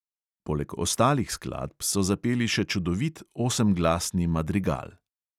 Poleg ostalih skladb so zapeli še čudovit osemglasni madrigal.